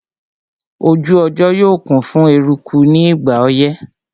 Ojú ọjọ́ yóò kún fún eruku ní ìgbà ọyẹ́